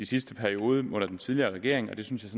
sidste periode under den tidligere regering og det synes jeg